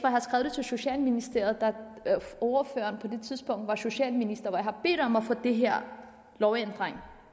til socialministeriet da ordføreren var socialminister hvor jeg har bedt om at få den her lovændring